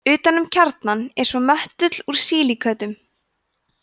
utan um kjarnann er svo möttull úr sílíkötum